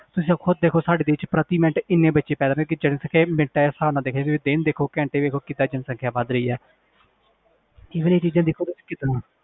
ਤੁਸੀਂ ਖੁੱਦ ਦੇਖੋ ਸਾਡੇ ਦੇਸ 'ਚ ਪ੍ਰਤੀ ਮਿੰਟ ਇੰਨੇ ਬੱਚੇ ਪੈਦਾ ਜਨਸੰਖਿਆ ਮਿੰਟਾਂ ਦੇ ਹਿਸਾਬ ਨਾਲ ਦੇਖੋ ਵੀ ਦਿਨ ਦੇਖੋ ਘੰਟੇ ਦੇਖੋ ਕਿੱਦਾਂ ਜਨਸੰਖਿਆ ਵੱਧ ਰਹੀ ਹੈ ਇਹ ਸਾਰੀਆਂ ਚੀਜ਼ਾਂ ਦੇਖੋ ਤੁਸੀਂ ਕਿੱਦਾਂ,